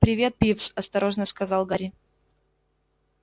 привет пивз осторожно сказал гарри